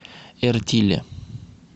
эртиле